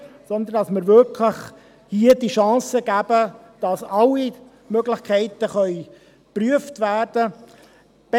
Demgegenüber sollten wir hier wirklich die Chance geben, dass alle Möglichkeiten geprüft werden können.